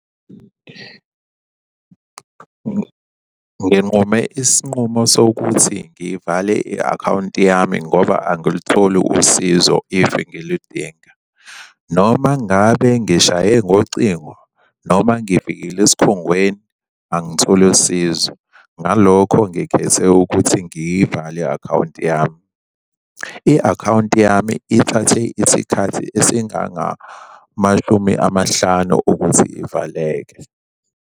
Nginqume isinqumo sokuthi ngivale i-akhawunti yami ngoba angilitholi usizo if ngiludinga, noma ngabe ngishaye ngocingo noma ngifikile esikhungweni angitholi sizo. Ngalokho ngikhethe ukuthi ngiyivale i-akhawunti yami. I-akhawunti yami ithathe isikhathi esingangamashumi amahlanu ukuthi ivaleke.